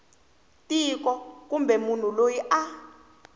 tiko kumbe munhu loyi a